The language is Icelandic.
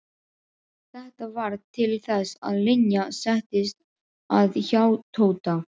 Þetta varð til þess að Linja settist að hjá Tóta.